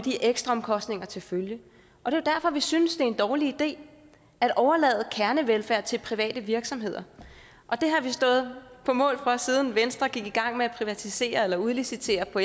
og ekstraomkostninger til følge og det er derfor vi synes det er en dårlig idé at overlade kernevelfærd til private virksomheder det har vi stået på mål for siden venstre gik i gang med at privatisere eller udlicitere på